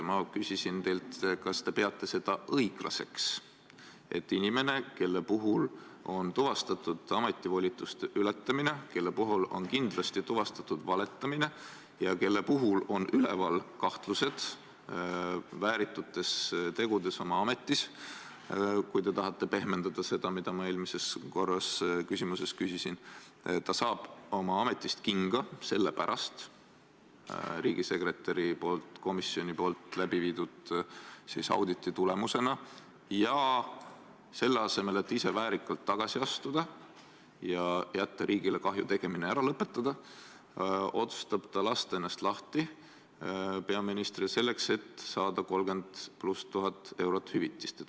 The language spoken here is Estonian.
Ma küsisin teilt, kas te peate õiglaseks, et inimene, kelle puhul on tuvastatud ametivolituste ületamine, kelle puhul on kindlasti tuvastatud valetamine ja kelle puhul on üleval kahtlused, et ta on pannud oma ametis toime väärituid tegusid ja kes saab oma ametist kinga riigisekretäri komisjoni läbiviidud auditi tulemusena, aga selle asemel, et ise väärikalt tagasi astuda ja riigile kahju tegemine ära lõpetada, otsustab ta lasta ennast lahti peaministril, selleks et saada 30 000 eurot hüvitist.